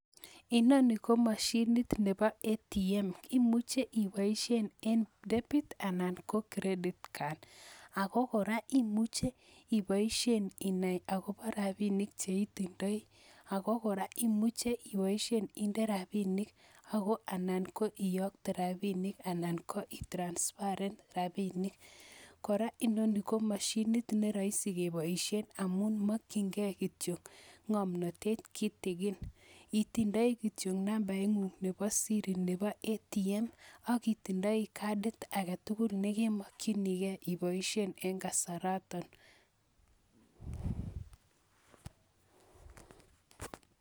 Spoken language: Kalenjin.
Inoni ko mashinit nebo ATM, imuche ipoishen eng Debit anan Credit card ako kora imuche ipoishen inai akobo rapinik che itindoi ako kora imuche ipoishen inde rapinik anan ko ipoishen iyokte rapinik anan ko itransfaren rapinik. Kora, inoni ko mashinit ne raisi kepoishen amun makchinikei kityo ngomnate kitigin, itindoi kityo nambaingung nebo siri nebo ATM aki tindoi kadit age tugul nekemakchinikei ipoishen eng kasaranata.